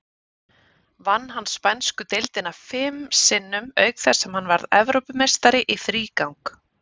Vann hann spænsku deildina fim sinnum, auk þess sem hann varð Evrópumeistari í þrígang.